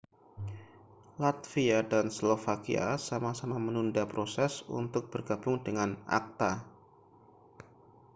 latvia dan slovakia sama-sama menunda proses untuk bergabung dengan acta